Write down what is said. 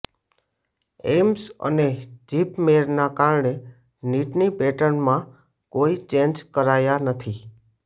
AIIMS અને જીપમેરના કારણે નીટની પેટર્નમાં કોઈ ચેન્જ કરાયા નથી